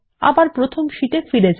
প্রথম শীটে ফিরে যান